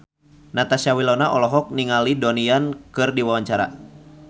Natasha Wilona olohok ningali Donnie Yan keur diwawancara